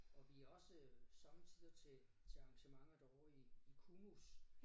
Og vi også sommetider til til arrangementer derovre i i KUMUS